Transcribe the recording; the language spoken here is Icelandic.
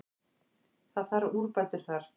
Það þarf úrbætur þar.